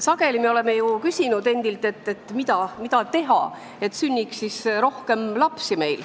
Sageli oleme ju endalt küsinud, mida teha, et sünniks rohkem lapsi.